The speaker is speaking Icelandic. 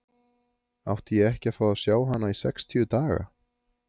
Átti ég ekki að fá að sjá hana í sextíu daga?